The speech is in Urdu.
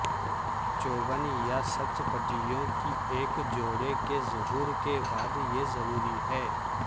چوبن یہ سچ پتیوں کی ایک جوڑے کے ظہور کے بعد یہ ضروری ہے